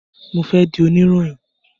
Mo fẹ di oniroyin.